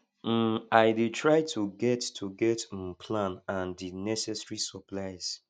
um i dey try to get to get um plan and di necessary supplies